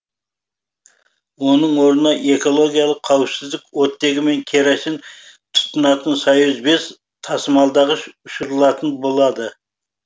оның орнына экологиялық қауіпсіз оттегі мен керосин тұтынатын союз бес тасымалдағыш ұшырылатын болады